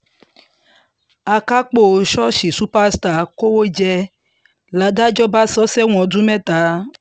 akápò ṣọ́ọ̀ṣì superstars kówó jẹ ládájọ́ bá sọ ọ́ sẹ́wọ̀n ọdún mẹ́ta